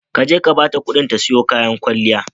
Ka je ka bata ƙuɗin ta siyo kayan kwalliya.